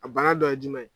A bana dɔ ye jumɛn ye